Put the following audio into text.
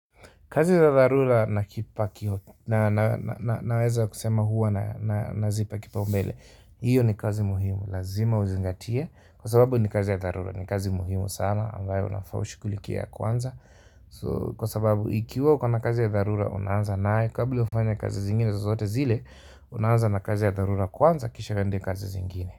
Kazi za dharura na kipakio naweza kusema huwa na zipa kipa mbele iyo ni kazi muhimu, lazima uzingatia kwa sababu ni kazi ya dharura ni kazi muhimu sama ambayo unafaa ushughlikie ya kwanza kwa sababu ikiwa uko na kazi ya dharura unaanza nayo kabla ufanye kazi zingine zazote zile unaanza na kazi ya dharura kwanza kisha uende kazi zingine.